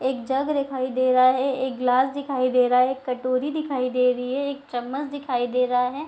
एक जग दिखाई दे रहा है एक गिलास दिखाई दे रहा है एक कटोरी दिखाई दे रही है एक चम्मच दिखाई दे रहा है।